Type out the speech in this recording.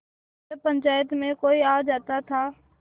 जब पंचायत में कोई आ जाता था